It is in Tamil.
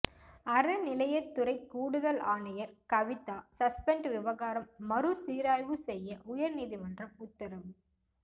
அறநிலையத்துறை கூடுதல் ஆணையர் கவிதா சஸ்பெண்ட் விவகாரம் மறு சீராய்வு செய்ய உயர் நீதிமன்றம் உத்தரவு